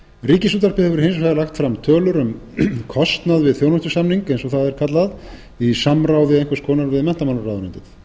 ríkisútvarpið hefur hins vegar lagt fram tölur um kostnað við þjónustusamning eins og það er kallað í samráði einhvers konar við menntamálaráðuneytið